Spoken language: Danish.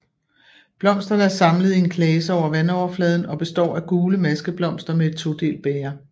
Blomsterne er samlet i en klase over vandoverfladen og består af gule maskeblomster med et todelt bæger